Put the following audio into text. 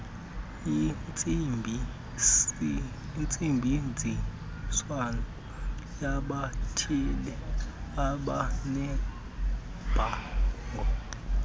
intsebenziswano yabathile ebanebango